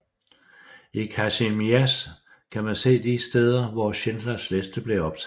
I Kazimierz kan man se de steder hvor Schindlers liste blev optaget